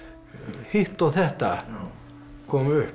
hitt og þetta kom upp